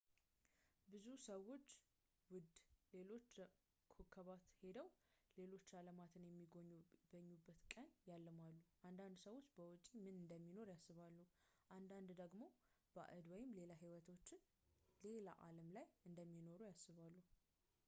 ብዙ ሰዎች ውደ ሌሎች ኮከባት ሄደው ሌሎች አለማትን የሚጎበኙበትን ቀን ያልማሉ አንዳንድ ሰዎች በውጪ ምን እንደሚኖር ያስባሉ አንዳንድ ደግሞ ባዕድ ወይም ሌላ ህይወቶች ሌላ አለም ላይ እንደሚኖሩ ያስባሉ